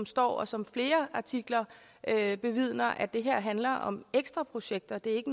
står og som flere artikler vidner at det her handler om ekstra projekter det